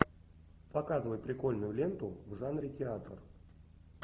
показывай прикольную ленту в жанре театр